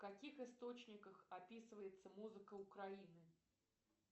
в каких источниках описывается музыка украины